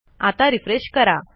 आता रिफ्रेश करा